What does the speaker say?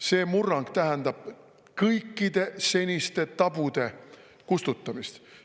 See murrang tähendab kõikide seniste tabude kustutamist.